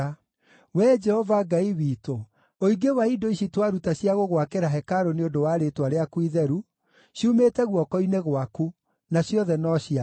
Wee Jehova Ngai witũ, ũingĩ wa indo ici twaruta cia gũgwakĩra hekarũ nĩ ũndũ wa Rĩĩtwa rĩaku Itheru ciumĩte guoko-inĩ gwaku, na ciothe no ciaku.